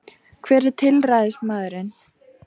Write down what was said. Hver er tilræðismaðurinn